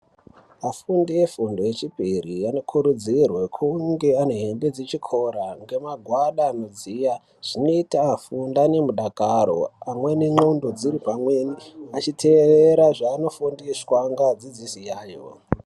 Afundi vefundo yechipiri anokurudzirwe kunge ane hembe dzechikora nemagwada anodziya zvinoita afunde ane mudakaro pamweni ndxondo dziri pamweni achiteerera zvanofundiswa ngeadzidzisi ayo.